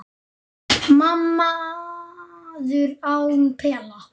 Maður án pela